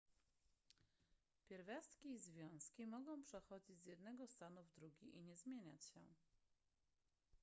pierwiastki i związki mogą przechodzić z jednego stanu w drugi i nie zmieniać się